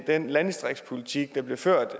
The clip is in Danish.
den landdistriktspolitik der bliver ført